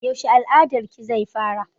Yaushe al'adar ki zai fara?